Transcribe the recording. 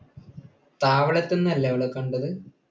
താവളത്തിൽ നിന്നല്ലേ അവരെ കണ്ടത്?